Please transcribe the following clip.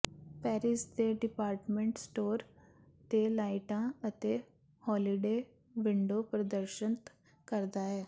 Paris ਦੇ department store ਤੇ ਲਾਈਟਾਂ ਅਤੇ ਹੌਲੀਡੇ ਵਿੰਡੋ ਪ੍ਰਦਰਸ਼ਤ ਕਰਦਾ ਹੈ